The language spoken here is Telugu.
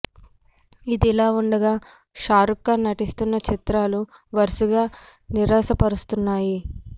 ఇదిలా ఉండగా షారుఖ్ ఖాన్ నటిస్తున్న చిత్రాలు వరుసగా నిరాశ పరుస్తున్నాయి